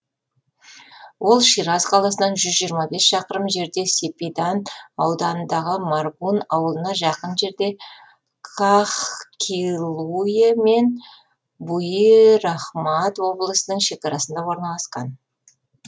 ол шираз қаласынан жүз жиырма бес шақырым жерде сепидан ауданындағы маргун ауылына жақын жерде каһкилуйе мен буирахмад облысының шекарасында орналасқан